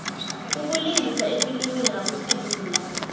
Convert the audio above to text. ukulingisa efilimini akusilula